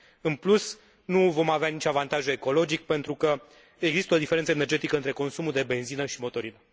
În plus, nu vom avea nici avantajul ecologic, pentru că există o diferență energetică între consumul de benzină și motorină.